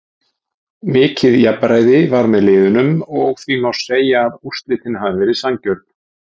Mikið jafnræði var með liðunum og því má segja að úrslitin hafi verið sanngjörn.